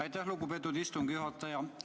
Aitäh, lugupeetud istungi juhataja!